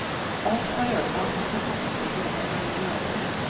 Alt var ødelagt, det fantes ikke mer å legge øde.